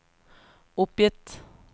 oppgitt